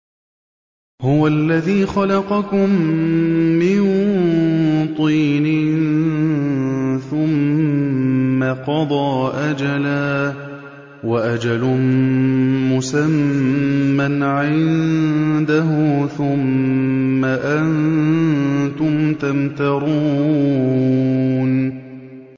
هُوَ الَّذِي خَلَقَكُم مِّن طِينٍ ثُمَّ قَضَىٰ أَجَلًا ۖ وَأَجَلٌ مُّسَمًّى عِندَهُ ۖ ثُمَّ أَنتُمْ تَمْتَرُونَ